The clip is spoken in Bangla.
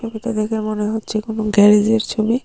এটা দেখে মনে হচ্ছে কোন গ্যারেজের ছবি।